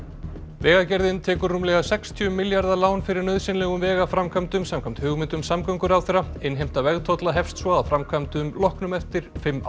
vegagerðin tekur rúmlega sextíu milljarða lán fyrir nauðsynlegum vegaframkvæmdum samkvæmt hugmyndum samgönguráðherra innheimta vegtolla hefst svo að framkvæmdum loknum eftir fimm ár